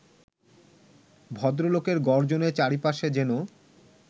ভদ্রলোকের গর্জনে চারপাশে যেন